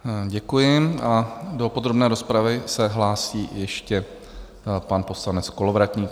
Děkuji a do podrobné rozpravy se hlásí ještě pan poslanec Kolovratník.